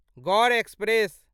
Gaur express